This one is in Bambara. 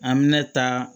An bɛ ne ta